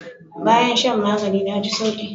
Bayan shan magani na ji sauki.